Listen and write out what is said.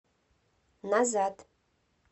назад